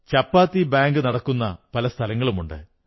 ചപ്പാത്തി bank നടക്കുന്ന പല സ്ഥലങ്ങളുമുണ്ട്